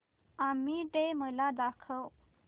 army day मला दाखव